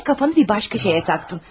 Yenə fikrini başqa bir şeyə cəmlədin.